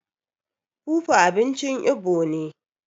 fufu abinci Igbo ne